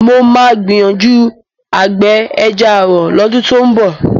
Mo máa gbìyànjú àgbẹ̀ ẹja ààrọ̀ lọ́dún tó ń bọ̀